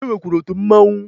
E nwekwara otu Mmanwụ